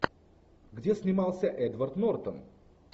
где снимался эдвард нортон